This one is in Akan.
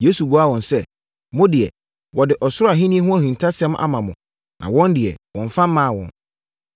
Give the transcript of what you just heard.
Yesu buaa wɔn sɛ, “Mo deɛ, wɔde Ɔsoro Ahennie ho ahintasɛm ama mo na wɔn deɛ, wɔmmfa mmaa wɔn.